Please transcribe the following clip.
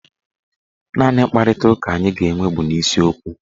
Naanị mkparitaụka anyị ga-enwe bụ n'isiokwu